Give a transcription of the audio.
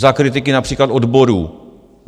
Za kritiky například odborů.